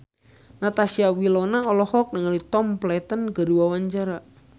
Natasha Wilona olohok ningali Tom Felton keur diwawancara